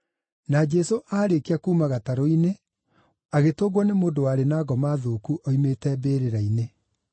Na Jesũ aarĩkia kuuma gatarũ-inĩ, agĩtũngwo nĩ mũndũ warĩ na ngoma thũku oimĩte mbĩrĩra-inĩ.